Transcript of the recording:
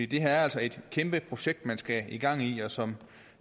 det her er altså et kæmpe projekt man skal have gang i og som